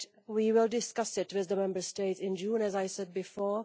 We will discuss it with the Member States in June, as I said before.